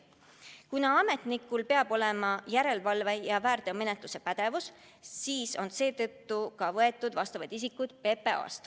Kuna ametnikul peab olema järelevalve- ja väärteomenetluse pädevus, siis ongi sinna appi võetud inimesi PPA-st.